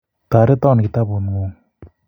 Toreton kitabu ngung